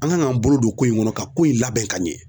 An kan k'an bolo don ko in kɔnɔ ka ko in labɛn ka ɲɛ.